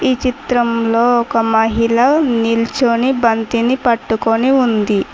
ఈ చిత్రంలో ఒక మహిళ నిల్చొని బంతిని పట్టుకొని ఉంది.